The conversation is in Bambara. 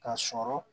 Ka sɔrɔ